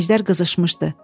Əjdər qızışmışdı.